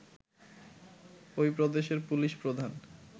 ঐ প্রদেশের পুলিশ প্রধান